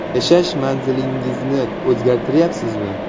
Yashash manzilingizni o‘zgartiryapsizmi?